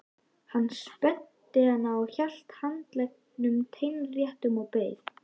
Hann spennti hanann og hélt handleggnum teinréttum og beið.